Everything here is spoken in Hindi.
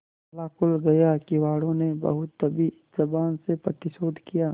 ताला खुल गया किवाड़ो ने बहुत दबी जबान से प्रतिरोध किया